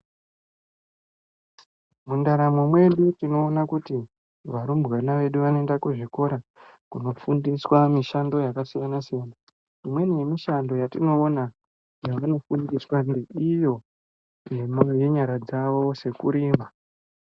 Mundaramo medu tinowona kuti varumbwana vedu vanoyenda kuzvikora kunofundiswa mishando yakasiyana siyana. Imweni yemishando yatinowona yavanofundiswa iyo nenyara dzavo sekurima.